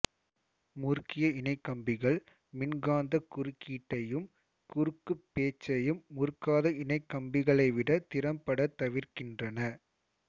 முறுக்கிய இணைகம்பிகள் மின்காந்தக் குறுக்கீட்டையும் குறுக்குப் பேச்சையும் முறுக்காத இணைகம்பிகளைவிட திறம்பட தவிர்க்கின்றன